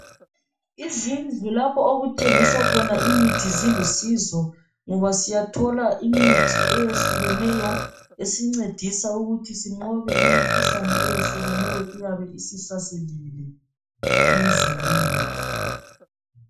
Izindlu lapho okuthengiswa khona imithi zilusizo ngoba siyathola imithi eyehlukeneyo esincedisa ukuthi sinqobe imikhuhlane eyehlukeneyo eyabe isisasilile emzimbeni yethu.